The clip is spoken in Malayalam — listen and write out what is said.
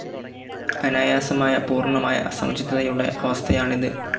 അനായാസമായ, പൂർണ്ണമായ, സമചിത്തതയുടെ അവസ്ഥയാണിത്.